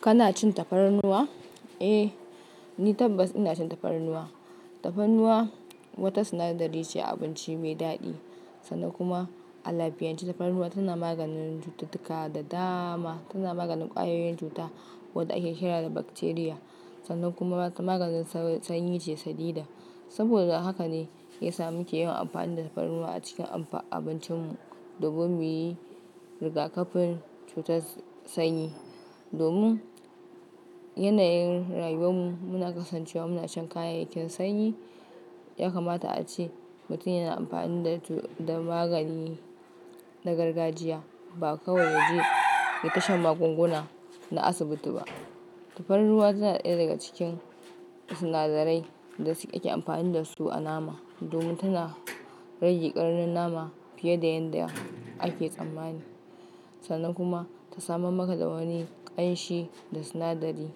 Kana cin tafarnuwa? Eh, ni tabbas ina cin tafarnuwa. Tafarnuwa wata sinadari ce abinci mai daɗi sannan kuma a lafiyance tafarnuwa tana maganin cututtuka da dama. Tana maganin ƙwayoyin cuta waɗanda ake kira da bakteriya sannan kuma ta maganin sanyi ce sadidan. Saboda haka ne ya sa muke yawan amfani da tafarnuwa a cikin amfa abincinmu domin muyi rigakafin cutar sanyi. Domin yanayin rayuwar mu muna kasancewa muna shan kayayyakin sanyi, ya kamata ace mutum yana amfani da to da magani na gargajiya ba kawai yaje ya tashan magunguna na asibiti ba. Tafarnuwa tana ɗaya daga cikin sinadarai da suke ake amfani dasu a nama domin tana rage ƙarnin nama fiye da yanda ake tsammani sannan kuma ta samar maka da wani ƙanshi da sinadari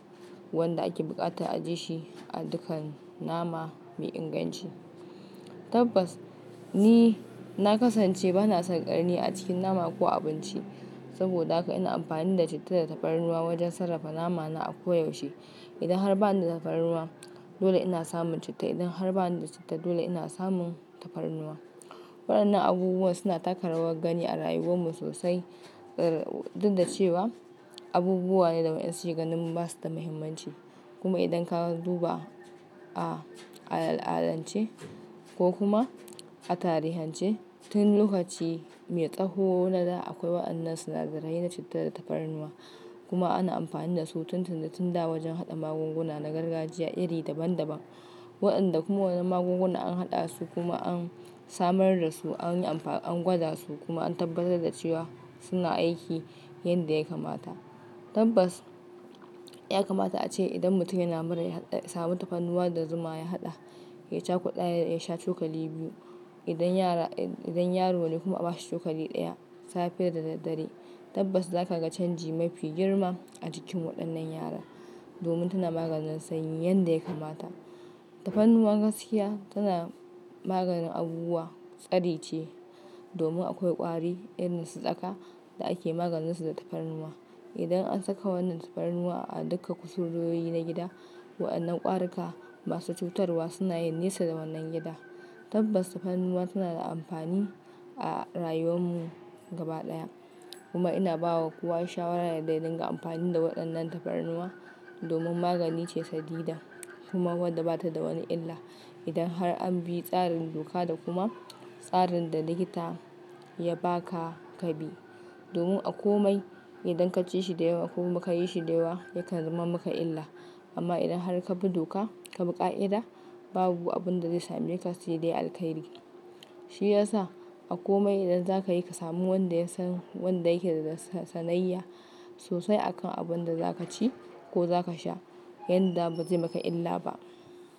wanda ake buƙatar ajiye shi a dukkan nama mai inganci. Tabbas ni na kasance bana son ƙarni a cikin nama ko abinci saboda haka ina amfani da citta da tafarnuwa wajen sarrafa namana a koyaushe. Idan har bani da tafarnuwa dole ina samun citta, idan har bani da citta dole ina samun tafarnuwa. Wayannan abubuwa suna taka rawar gani a rayuwar mu sosai duk da cewa abubuwa ne da wayansu su ke ganin basu da mahimmanci. Kuma idan ka duba a al'adance ko kuma a tarihance tun lokaci mai tsaho na da akwai wayannan sinadarai na citta da tafarnuwa kuma ana amfani dasu tun tuni tun da wajen haɗa magunguna na gargajiya iri daban daban. Wayanda kuma wannan magunguna an haɗa su kuma an samar da su an gwada su kuma an tabbatar da cewa suna aiki yadda ya kamata. Tabbas ya kamata ace idan mutum yana mura ya hada ya samu tafarnuwa da zuma ya haɗa ya cakuɗa ya ya sha cokali biyu idan yara yan. Idan yaro ne kuma aba shi cokali ɗaya safe da daddare. Tabbas za kaga canji mafi girma a jikin waɗannan yara domin tana maganin sanyi yanda ya kamata. Tafarnuwa gaskiya tana maganin abubuwa tsari ce domin akwai ƙwari irin su tsaka da ake maganin su da tafarnuwa. Idan an saka wannan tafarnuwa a duka kusurwoyi na gida, waɗannan ƙwarika masu cutarwa suna yin nesa da wannan gida. Tabbas tafarnuwa tana da amfani a rayuwan mu gaba ɗaya kuma ina ba wa kuwa shawara da ya dinga amfani da waɗannan tafarnuwa domin magani ce sadidan kuma wadda bata da wani illa idan har an bi tsarin doka da kuma tsarin da likita ya baka ka bi. Domin a komai idan ka ci shi da yawa ko kuma ka yi shi da yawa yakan zama maka illa. Amma idan har ka bi doka ka bi ƙa'ida babu abun da zai sameka sai dai alkairi. Shi ya sa a kome idan zaka yi ka samu wanda yasan wan da ya ke da sanayya sosai a kan abun da za ka ci ko za ka sha yanda bazai maka illa ba.